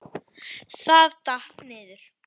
Það datt. niður.